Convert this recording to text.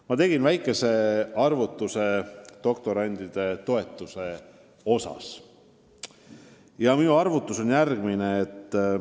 Ma tegin väikese doktorantide toetust puudutava arvutuse, mis on järgmine.